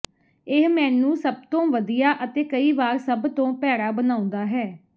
ਇਹ ਮੈਨੂੰ ਸਭ ਤੋਂ ਵਧੀਆ ਅਤੇ ਕਈ ਵਾਰ ਸਭ ਤੋਂ ਭੈੜਾ ਬਣਾਉਂਦਾ ਹੈ